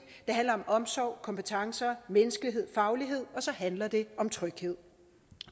det handler om omsorg kompetencer menneskelighed faglighed og så handler det om tryghed